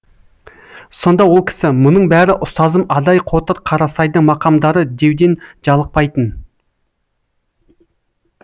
сонда ол кісі мұның бәрі ұстазым адай қотыр қарасайдың мақамдары деуден жалықпайтын